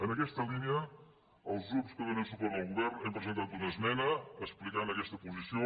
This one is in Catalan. en aquesta línia els grups que donen suport al govern hem presentat una esmena que explica aquesta posició